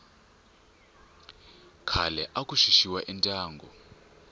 khale aku xuxiwa endyangu